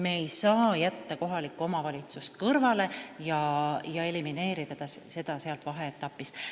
Me ei saa jätta kohalikku omavalitsust kõrvale ega seda sealt vaheetapist elimineerida.